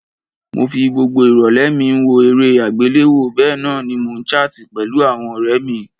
Mo fi gbogbo ìrọ̀lẹ́ mi n wo eré àgbéléwo bénan ni mo n chart pẹ̀lu àwon ọ̀rẹ mí